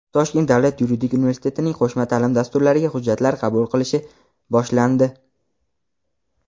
Toshkent davlat yuridik universitetining qo‘shma ta’lim dasturlariga hujjatlar qabul qilish boshlandi.